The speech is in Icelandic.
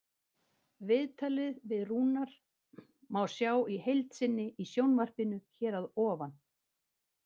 Viðtalið við Rúnar má sjá í heild sinni í sjónvarpinu hér að ofan.